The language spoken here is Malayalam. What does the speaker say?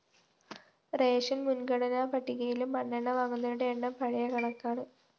റേഷൻസ്‌ മുന്‍ഗണനാ പട്ടികയിലും മണ്ണെണ്ണ വാങ്ങുന്നവരുടെ എണ്ണം പഴയ കണക്കാണ്